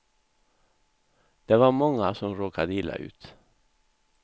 Det var många som råkade illa ut.